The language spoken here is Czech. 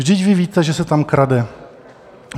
Vždyť vy víte, že se tam krade.